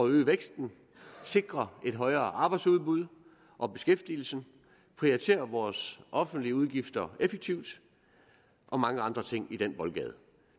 øge væksten sikre et højere arbejdsudbud og beskæftigelsen prioritere vores offentlige udgifter effektivt og mange andre ting i den boldgade